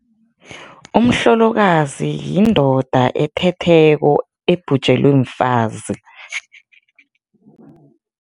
Umhlolokazi yindoda ethetheko, ebhujelwe mfazi.